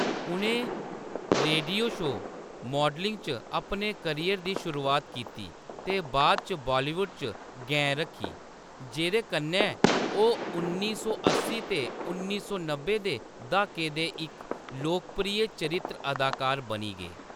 उʼनें radio show, modelling च अपने करियर दी शुरुआत कीती ते बाद इच बालीवुड च गैं रक्खी, जेह्‌‌‌दे कन्नै ओह्‌‌ उन्नी सौ अस्सी ते उन्नी सौ नब्बै दे द्हाके दे इक लोकप्रिय चरित्र अदाकार बनी गे।